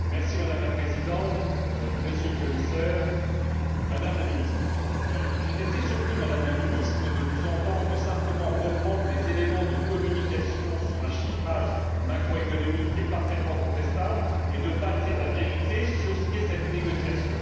Madame la Présidente, Monsieur le Commissaire, Madame la Ministre, j'ai été très surpris, Madame la Ministre, de vous entendre simplement reprendre des éléments de communication sur un chiffrage macroéconomique et parfaitement contestable, et sans dire la vérité sur le contenu de cette négociation.